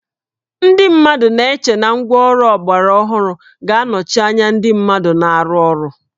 Ndị mmadụ na-eche na ngwáọrụ ọgbaraọhụrụ ga-anọchi anya ndị mmadụ na-arụ ọrụ